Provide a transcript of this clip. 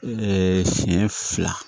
siɲɛ fila